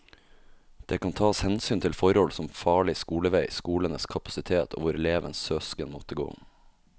Det kan tas hensyn til forhold som farlig skolevei, skolenes kapasitet og hvor elevens søsken måtte gå.